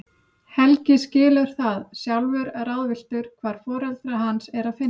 Helgi skilur það, sjálfur ráðvilltur hvar foreldra hans er að finna.